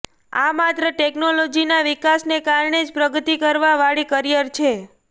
આ માત્ર ટેક્નોલોજીના વિકાસને કારણે જ પ્રગતિ કરવા વાળી કરિયર છે